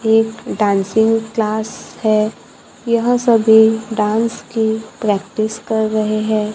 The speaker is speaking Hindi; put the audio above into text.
एक डांसिंग क्लास है यह सभी डांस की प्रैक्टिस कर रहे हैं।